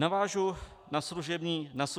Navážu na služební zákon.